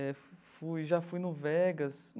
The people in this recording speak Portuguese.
É, fui... já fui no Vegas.